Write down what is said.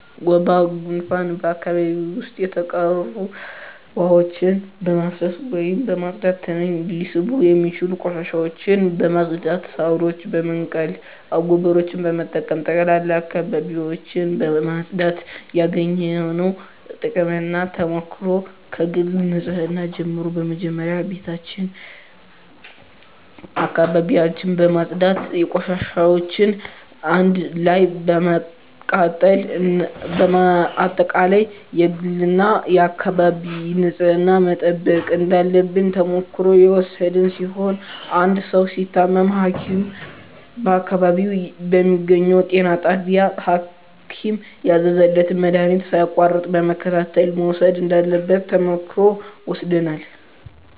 ወባ ጉንፋን በአካባቢው ዉስጥ የተቋሩ ዉሀዎችን በማፋሰስ ወይም በማፅዳት ትንኝ ሊስቡ የሚችሉ ቆሻሻዎችን በማፅዳት ሳሮችን በመንቀል አጎበሮችን በመጠቀም በጠቅላላ አካባቢዎችን ማፅዳት ያገኘነዉ ጥቅምና ተሞክሮ ከግል ንፅህና ጀምሮ መጀመሪያ ቤታችን አካባቢያችን በማፅዳት ቆሻሻዎችን አንድ ላይ በማቃጠል በአጠቃላይ የግልና የአካባቢ ንፅህናን መጠበቅ እንዳለብን ተሞክሮ የወሰድን ሲሆን አንድ ሰዉ ሲታመም ሀኪም በአካባቢው በሚገኘዉ ጤና ጣቢያ ሀኪም ያዘዘለትን መድሀኒት ሳያቋርጥ በመከታተል መዉሰድ እንዳለበት ተሞክሮ ወስደናል